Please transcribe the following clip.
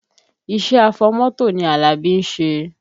Iṣẹ́ afọmọ́tò ni Alabi ń ṣe